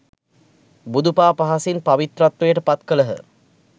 බුදු පා පහසින් පවිත්‍රත්වයට පත් කළහ